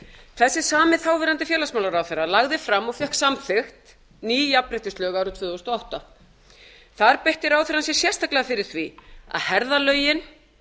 þessi sami þáverandi félagsmálaráðherra lagði fram og fékk samþykkt ný jafnréttislög árið tvö þúsund og átta þar beitti ráðherrann sér sérstaklega fyrir því að herða lögin